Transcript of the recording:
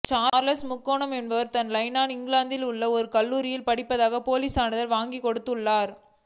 Charles முகானோ என்பவர் தான் லைலா இங்கிலாந்தில் உள்ள ஒரு கல்லூரியில் படிப்பதாக போலிச் சான்றிதழ் வாங்கிக் கொடுத்துள்ளார்